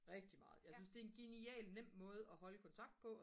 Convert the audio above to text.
rigtig meget jeg synes det er en genial nem måde at holde kontakt på